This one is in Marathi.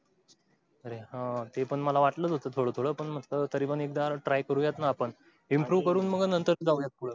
अरे हा ते पण मला वाटलं हुत थोड थोड पण अस तरी पण try करूया ना आपण. improve करून मग नंतर जाऊया पुढं.